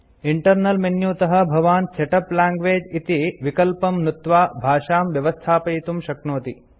internal menu तः भवान् setup language इति विकल्पं नुत्त्वा भाषां व्यवस्थापयितुं शक्नोति